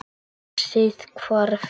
Brosið hvarf.